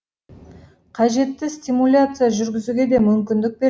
қажетті стимуляция жүргізуге де мүмкіндік бер